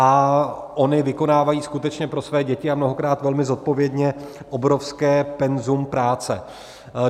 A ony vykonávají skutečně pro své děti, a mnohokrát velmi zodpovědně, obrovské penzum práce.